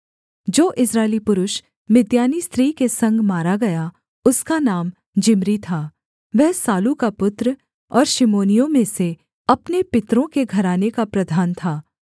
जो इस्राएली पुरुष मिद्यानी स्त्री के संग मारा गया उसका नाम जिम्री था वह सालू का पुत्र और शिमोनियों में से अपने पितरों के घराने का प्रधान था